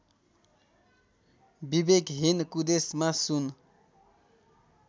विवेकहीन कुदेशमा सुन